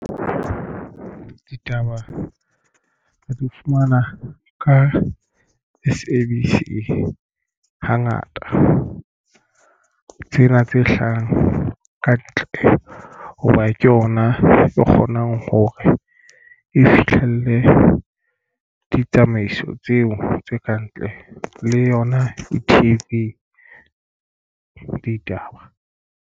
Ditaba re di fumana ka S_A_B_C hangata tsena tse hlahang ka ntle hoba ke yona e kgonang hore e fihlelle ditsamaiso tseo tse kantle le yona e-T_V ditaba.